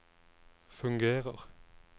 fungerer